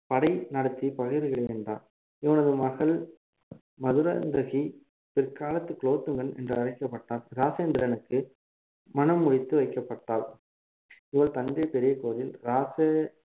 படை நடத்தி பகைவர்களை வென்றான் இவனது மகள் மதுராந்தகி பிற்காலத்து குலோத்துங்கன் என்று அழைக்கப்பட்ட ராஜேந்திரனுக்கு மணம் முடித்து வைக்கப்பட்டாள் இவள் தஞ்சை பெரிய கோவில் ராசு~